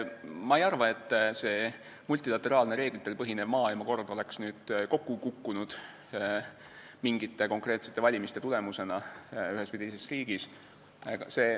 Ma ei arva, et multilateraalne, reeglitel põhinev maailmakord oleks kokku kukkunud mingite konkreetsete valimiste tulemusena ühes või teises riigis.